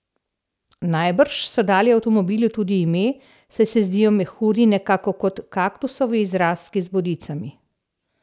Najbrž so dali avtomobilu tudi ime, saj se zdijo mehurji nekako kot kaktusovi izrastki z bodicami.